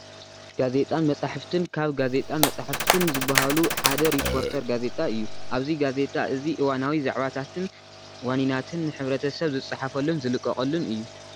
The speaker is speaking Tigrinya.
ጋዜጣን መፅሓፍትን፡- ካብ ዓይነታት ጋዜጣን መፅሓፍትን ዝባሃሉ ሓደ ሪፖርተር ጋዜጣ እዩ፡፡ ኣብዚ ጋዜጣ እዚ እዋናዊ ዛዕባታትን ዋኒናትን ንሕ/ሰብ ዝፀሓፈሉን ዝልቀቐሉን እዩ፡፡